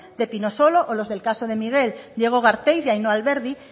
de pinosolo los del caso de miguel diego garteiz y ainhoa alberdi